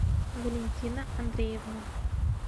валентина андреевна